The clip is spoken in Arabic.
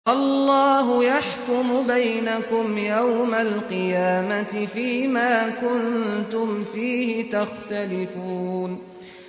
اللَّهُ يَحْكُمُ بَيْنَكُمْ يَوْمَ الْقِيَامَةِ فِيمَا كُنتُمْ فِيهِ تَخْتَلِفُونَ